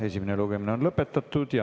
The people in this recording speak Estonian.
Esimene lugemine on lõpetatud.